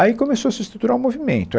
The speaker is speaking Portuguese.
Aí começou a se estruturar um movimento.